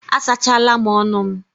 A sachala m ọnụ m.